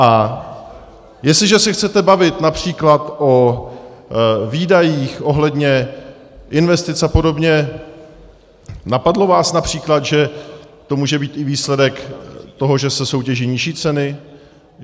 A jestliže se chcete bavit například o výdajích ohledně investic a podobně, napadlo vás například, že to může být i výsledek toho, že se soutěží nižší ceny?